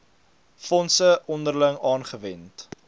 fondse onderling aangewend